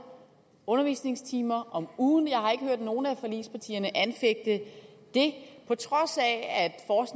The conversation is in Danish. undervisningstimer om ugen jeg har ikke hørt nogen af forligspartierne anfægte det på trods af